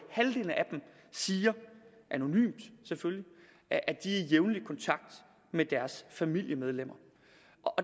siger anonymt selvfølgelig at de er i jævnlig kontakt med deres familiemedlemmer